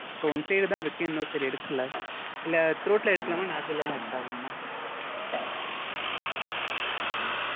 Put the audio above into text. So one sided ஆ இருக்கு. இன்னொரு side எடுக்கல. இல்ல throat ல எடுக்கலாமா? nostril லதா எடுத்தாகனுமா?